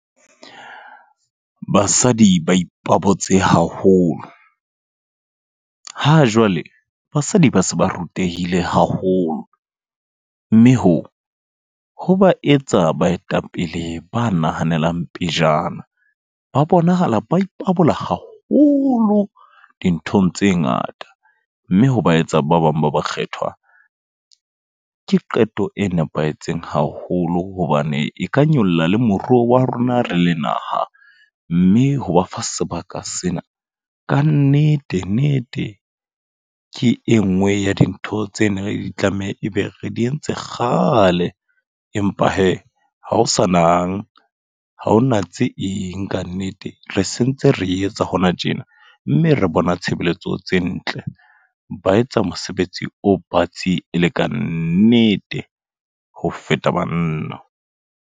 Basadi ba ipabotse haholo. Ha jwale basadi ba se ba rutehile haholo. Mme hoo, ho ba etsa baetapele ba nahanelang pejana. Ba bonahala ba ipabola haholo dinthong tse ngata. Mme ha ba etsa ba bang ba ba kgethwa. Ke qeto e nepahetseng haholo, hobane e ka nyolla le moruo wa rona re le naha. Mme ho ba fa sebaka sena, ka nnete nete ke e nngwe ya dintho tse neng di tlameha ebe re di entse kgale. Empa he, ha o sa nang, haho na tse eng kannete. Re sentse re etsa hona tjena, mme re bona tshebeletso tse ntle. Ba etsa mosebetsi o batsi e le kannete ho feta banna.